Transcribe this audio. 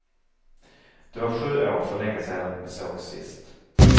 Det var sju år, för länge sedan, vi sågs sist.